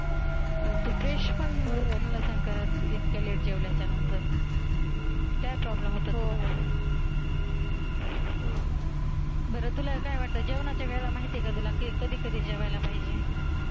Brush पण नसेल करत इतक्या लेट जेवणाच्या नंतर? हो, काय problem येतात बरं तुला काय वाटतं जेवणाच्या वेडा माहित आहे का कधी कधी जेवायला पाहिजे?